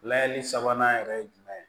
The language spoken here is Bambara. Layɛli sabanan yɛrɛ ye jumɛn ye